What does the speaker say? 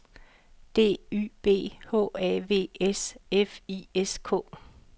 D Y B H A V S F I S K